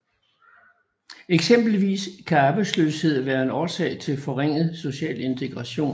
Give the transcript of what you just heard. Eksempelvis kan arbejdsløshed være en årsag til forringet social integration